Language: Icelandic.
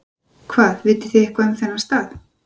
Hvað, vitið þið eitthvað um þennan stað?